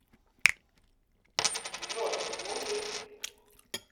джой мужик